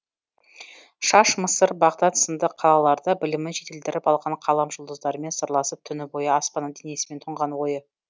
шаш мысыр бағдат сынды қалаларда білімін жетілдіріп алған қалам жұлдыздармен сырласып түні бойы аспанның денесімен тұнған ойы